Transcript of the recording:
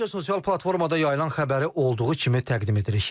Əvvəlcə sosial platformada yayılan xəbəri olduğu kimi təqdim edirik.